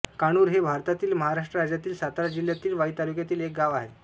काणूर हे भारतातील महाराष्ट्र राज्यातील सातारा जिल्ह्यातील वाई तालुक्यातील एक गाव आहे